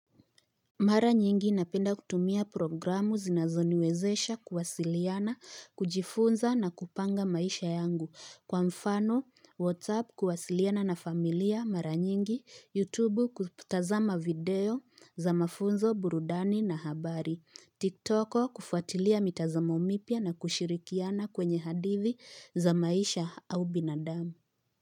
Mara nyingi napenda kutumia programu zinazoniwezesha kuwasiliana, kujifunza na kupanga maisha yangu. Kwa mfano, WhatsApp kuwasiliana na familia mara nyingi, YouTubu kutazama video za mafunzo burudani na habari, TikToko kufuatilia mitazamo mipya na kushirikiana kwenye hadithi za maisha au binadamu.